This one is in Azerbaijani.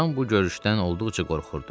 Loran bu görüşdən olduqca qorxurdu.